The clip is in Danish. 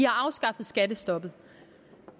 afskaffet skattestoppet